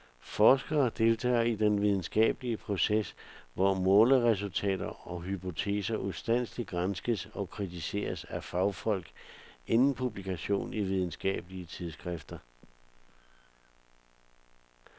Forskere deltager i den videnskabelige proces, hvor måleresultater og hypoteser ustandseligt granskes og kritiseres af fagfolk inden publikation i videnskabelige tidsskrifter.